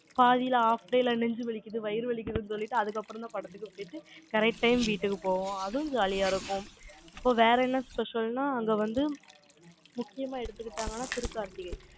பாதியில, half day ல நெஞ்சு வலிக்குது, வயிறு வலிக்குதுன்னு சொல்லிட்டு, அதுக்கப்புறம்தான் படத்துக்கு போயிட்டு, correct time வீட்டுக்கு போவோம். அதுவும் jolly ஆ இருக்கும். இப்ப வேற என்ன special ன்னா, அங்க வந்து, முக்கியமா எடுத்துக்கிட்டாங்கன்னா, திருக்கார்த்திகை.